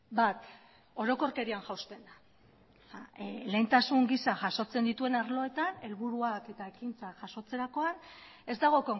bat orokorkerian jausten da lehentasun gisa jasotzen dituen arloetan helburuak eta ekintzak jasotzerakoan ez dago